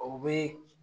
O bɛ